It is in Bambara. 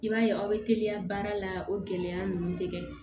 I b'a ye aw bɛ teliya baara la o gɛlɛya ninnu tɛ kɛ